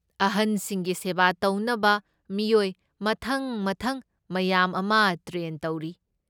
ꯑꯍꯟꯁꯤꯡꯒꯤ ꯁꯦꯕꯥ ꯇꯧꯅꯕ ꯃꯤꯑꯣꯏ ꯃꯊꯪ ꯃꯊꯪ ꯃꯌꯥꯝ ꯑꯃ ꯇ꯭ꯔꯦꯟ ꯇꯧꯔꯤ꯫